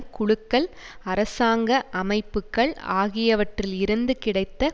குழுக்கள் அரசாங்க அமைப்புக்கள் ஆகியவற்றில் இருந்து கிடைத்த